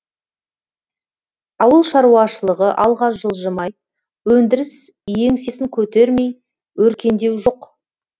ауыл шаруашылығы алға жылжымай өндіріс еңсесін көтермей өркендеу жоқ